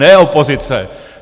Ne opozice.